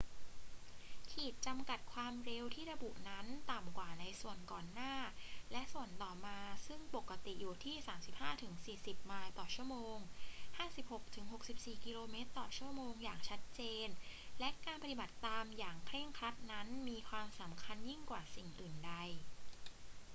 ขีดจำกัดความเร็วที่ระบุนั้นต่ำกว่าในส่วนก่อนหน้าและส่วนต่อมาซึ่งปกติอยู่ที่ 35-40 ไมล์/ชม. 56-64 กม./ชม. อย่างชัดเจน และการปฏิบัติตามอย่างเคร่งครัดนั้นมีความสำคัญยิ่งกว่าสิ่งอื่นใด